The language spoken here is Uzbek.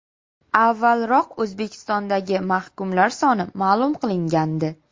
Avvalroq O‘zbekistondagi mahkumlar soni ma’lum qilingandi.